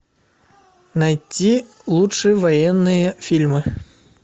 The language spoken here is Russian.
найти лучшие военные фильмы